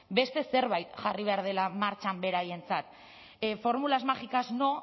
beste zerbait jarri behar dela martxan beraientzat fórmulas mágicas no